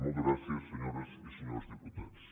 moltes gràcies senyores i senyors diputats